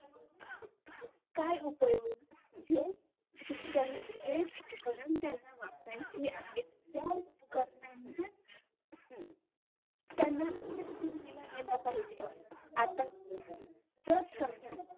काय उपयोग जे शिक्षण जे उपकरण त्यांना वापरायची आहेत त्या उपकरणाला त्यांना दिला गेला पाहिजे आता जर समजा